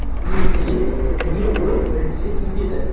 не сен не ол бірінші кетеді